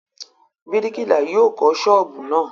Bíríkìlà yóò kọ́ ṣọ́ọ́bù náà.